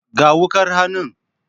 Ga wukar hannun.